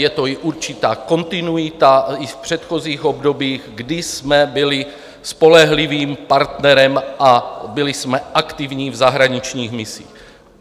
Je to i určitá kontinuita i v předchozích obdobích, kdy jsme byli spolehlivým partnerem a byli jsme aktivní v zahraničních misích.